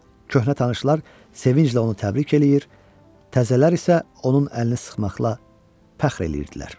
Köhnə tanışlar sevinclə onu təbrik eləyir, təzələr isə onun əlini sıxmaqla fəxr eləyirdilər.